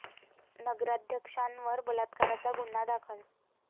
नगराध्यक्षांवर बलात्काराचा गुन्हा दाखल